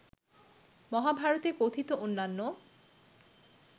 মহাভারতে কথিত অন্যান্য